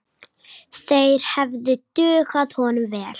Þeir hefðu dugað honum vel.